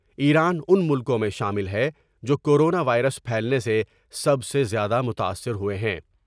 ایران ان ملکوں میں شامل ہے ، جوکورونا وائرس پھیلنے سے سب سے زیادہ متاثر ہوۓ ہیں۔